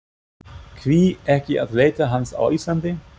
Hví ekki að leita hans á Íslandi?